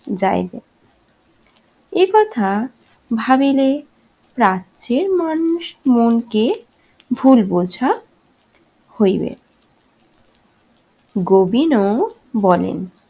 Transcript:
যাইবে। একথা ভাবিলে রাজ্যের মানুষ মনকে ভুল বোঝা হইবে। গোবিনও বলেন